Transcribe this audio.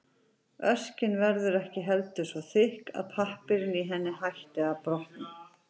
Örkin verður ekki heldur svo þykk að pappírinn í henni hætti að brotna.